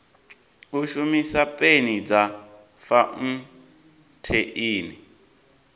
u shumisa peni dza fauntheini